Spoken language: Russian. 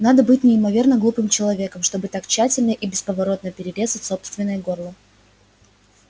надо быть неимоверно глупым человеком чтобы так тщательно и бесповоротно перерезать собственное горло